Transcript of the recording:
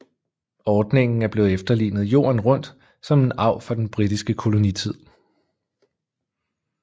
Ordningen er blevet efterlignet jorden rundt som en arv fra den britiske kolonitid